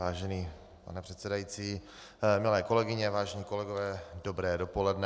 Vážený pane předsedající, milé kolegyně, vážení kolegové, dobré dopoledne.